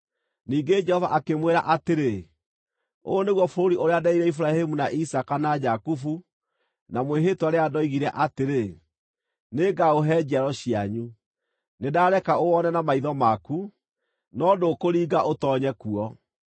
Ningĩ Jehova akĩmwĩra atĩrĩ, “Ũyũ nĩguo bũrũri ũrĩa nderĩire Iburahĩmu, na Isaaka na Jakubu na mwĩhĩtwa rĩrĩa ndoigire atĩrĩ, ‘Nĩngaũhe njiaro cianyu.’ Nĩndareke ũwone na maitho maku, no ndũkũringa ũtoonye kuo.”